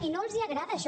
i no els agrada això